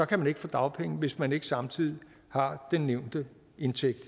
kan man ikke få dagpenge hvis man ikke samtidig har den nævnte indtægt